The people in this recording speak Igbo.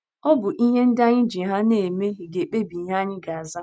Ọ bụ ihe ndị anyị ji ha na - eme ga - ekpebi ihe anyị ga - aza.